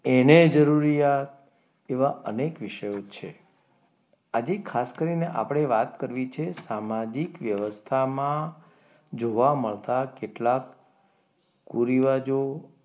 એની જરૂરિયાત એવા અનેક વિષયો છે આજે ખાસ કરીને આપણે વાત કરવાની છે સામાજિક વ્યવસ્થામાં જોવા મળતા કેટલાક કુરિવાજો.